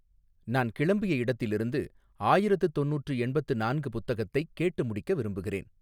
நான் கிளம்பிய இடத்திலிருந்து ஆயிரத்து தொண்ணூற்று எண்பத்து நான்கு புத்தகத்தைக் கேட்டு முடிக்க விரும்புகிறேன்